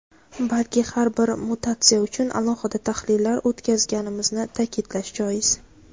balki har bir mutatsiya uchun alohida tahlillar o‘tkazganimizni ta’kidlash joiz.